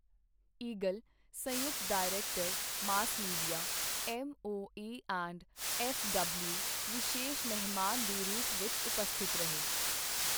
Eagle, ਸੰਯੂਕਤ director mass media, MOA and FW ਵਿਸ਼ੇਸ਼ ਮਹਿਮਾਨ ਦੇ ਰੂਪ ਵਿੱਚ ਉਪਸਥਿਤ ਰਹੇ।